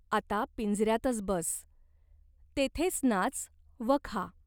आता पिंजऱ्यातच बस. तेथेच नाच व खा.